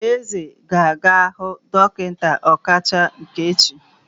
Eze ga-aga hu dokinta okacha echi.